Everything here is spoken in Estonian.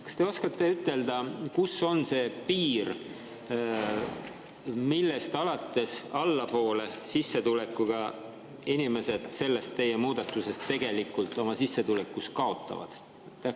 Kas te oskate ütelda, kus on see piir, millest allapoole inimesed teie muudatuse tõttu oma sissetulekus kaotavad?